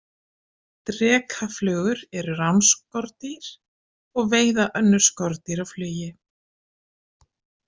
Drekaflugur eru ránskordýr og veiða önnur skordýr á flugi.